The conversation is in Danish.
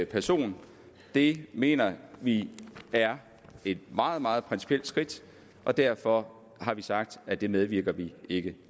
person det mener vi er et meget meget principielt skridt og derfor har vi sagt at det medvirker vi ikke